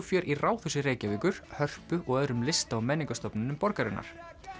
fjör í Ráðhúsi Reykjavíkur Hörpu og í öðrum lista og menningarstofnunum borgarinnar